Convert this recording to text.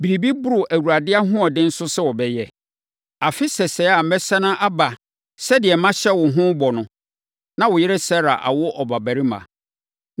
Biribi boro Awurade ahoɔden so sɛ ɔbɛyɛ? Afe sɛsɛɛ a mɛsane aba sɛdeɛ mahyɛ wo ho bɔ no, na wo yere Sara awo ɔbabarima.”